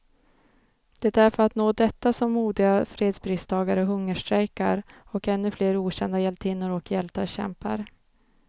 Det är för att nå detta som modiga fredspristagare hungerstrejkar, och ännu flera okända hjältinnor och hjältar kämpar.